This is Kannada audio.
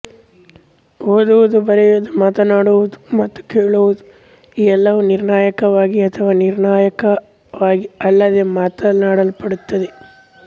ಓದುವುದು ಬರೆಯುವುದು ಮಾತನಾಡುವುದು ಮತ್ತು ಕೇಳುವುದು ಈ ಎಲ್ಲವೂ ನಿರ್ಣಾಯಕವಾಗಿ ಅಥವಾ ನಿರ್ಣಾಯಕವಾಗಿ ಅಲ್ಲದೇ ಮಾಡಲ್ಪಡುತ್ತವೆ